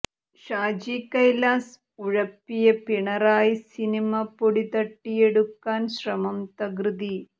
ഷാജി കൈലാസ് ഉഴപ്പിയ പിണറായി സിനിമ പൊടിതട്ടിയെടുക്കാൻ ശ്രമം തകൃതി